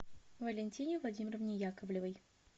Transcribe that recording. валентине владимировне яковлевой